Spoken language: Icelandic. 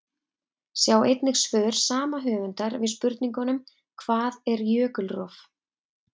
Sjá einnig svör sama höfundar við spurningunum: Hvað er jökulrof?